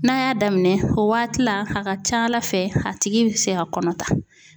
N'a y'a daminɛ o waati la a ka ca Ala fɛ a tigi bɛ se ka kɔnɔ ta .